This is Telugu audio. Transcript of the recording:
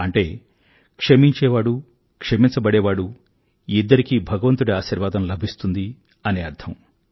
అంటే క్షమించేవాడు క్షమించబడేవాడూ ఇద్దరికీ భగవంతుడి ఆశీర్వాదం లభిస్తుంది అని అర్థం